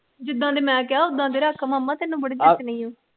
ਜਿਦਾ ਦੇ ਮੈ ਕਿਹਾ ਉਦਾ ਦੇ ਰੱਖ ਮਾਮਾ ਤੈਨੂੰ ਬੜੇ ਜਚਣੇ ਆ ।